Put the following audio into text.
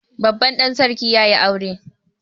Babban ɗan sarki ya yi aure